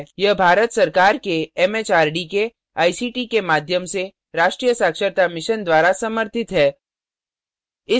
यह भारत सरकार एमएचआरडी के आईसीटी के माध्यम से राष्ट्रीय साक्षरता mission द्वारा समर्थित है